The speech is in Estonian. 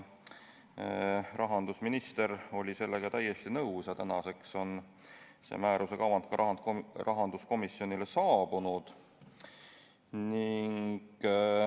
Rahandusminister oli sellega täiesti nõus ja tänaseks on selle määruse kavand rahanduskomisjonile saabunud.